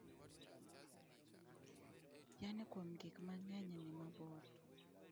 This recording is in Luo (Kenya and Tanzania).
Yani kuom gik mang'eny ni mabor